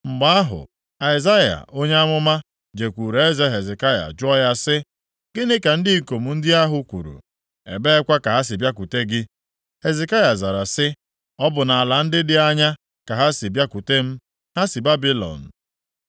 Mgbe ahụ, Aịzaya onye amụma jekwuru eze Hezekaya jụọ ya sị, “Gịnị ka ndị ikom ndị ahụ kwuru? Ebeekwa ka ha si bịakwute gị?” Hezekaya zara sị, “Ọ bụ nʼala dị anya ka ha si bịakwute m, ha si Babilọn.”